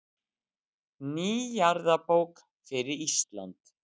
Ný jarðabók fyrir Ísland.